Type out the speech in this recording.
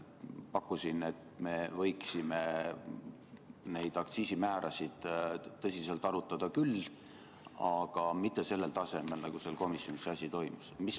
Pakkusin, et me võiksime neid aktsiisimäärasid tõsiselt arutada küll, aga mitte sellel tasemel, nagu komisjonis see asi toimus.